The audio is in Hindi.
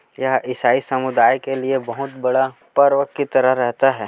यह ईसाई समुदाय के लिए बहुत बड़ा पर्व की तरह रहता है।